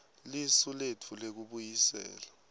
lisu letfu lekubuyisela